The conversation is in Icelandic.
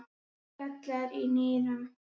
gallar í nýrum